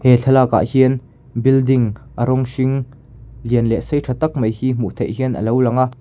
he thlakakah hian building a rawng hring lian leh sei tha tak mai hi hmuh theih hian a lo lang a.